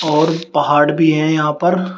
और पहाड़ भी है यहां पर।